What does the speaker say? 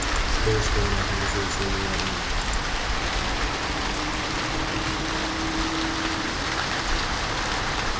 что если он организует свою армию